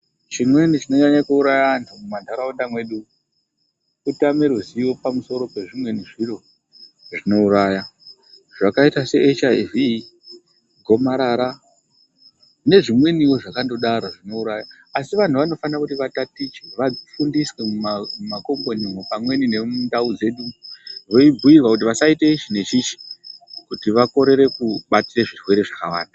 Chimweni chinonyanga kuuraya antu mumantaraunda mwedu kutame ruzivo pamusoro pezvimweni zvinouraya zvamaita se echiyaivhi, gomarara nezvimweni zvakandodaro zvinouraya. Asi vantu vanofana kuti vatatiche vafundiswe mumakombonimwo pamweni nemundau dzedu veibhuyirwa kuti musaite ichi neichi kuti vakorere kubatira zvirwere zvakawanda.